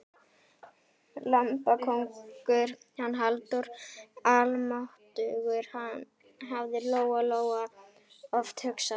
Lambakóngur, hann Halldór, almáttugur, hafði Lóa-Lóa oft hugsað.